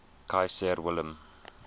kaiser wilhelm